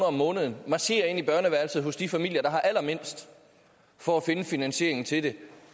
om måneden marcherer ind i børneværelset hos de familier der har allermindst for at finde finansieringen til det